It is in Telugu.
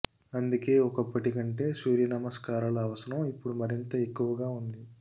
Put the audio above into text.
అందుకే ఒకప్పటి కంటే సూర్యనమస్కారాల అవసరం ఇప్పుడు మరింత ఎక్కువగా ఉంది